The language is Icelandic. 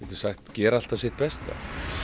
gera alltaf sitt besta